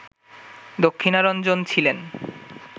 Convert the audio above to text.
দক্ষিণারঞ্জন ছিলেন